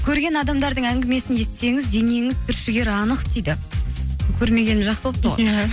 көрген адамдардың әңгімесін естісеңіз денеңіз түршігері анық дейді көрмегенім жақсы болыпты ғой иә